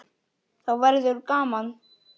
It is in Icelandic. Þá verður gaman.